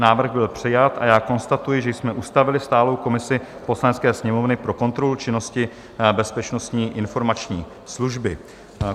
Návrh byl přijat a já konstatuji, že jsme ustavili stálou komisi Poslanecké sněmovny pro kontrolu činnosti Bezpečnostní informační služby.